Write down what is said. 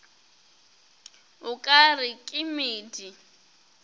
o ka re ke medi